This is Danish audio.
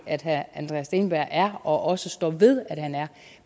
at herre andreas steenberg er og også står ved at han er